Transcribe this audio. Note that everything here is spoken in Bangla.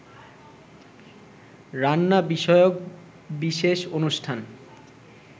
রান্না বিষয়ক বিশেষ অনুষ্ঠান